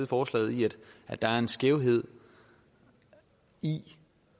forslaget i at der er en skævhed i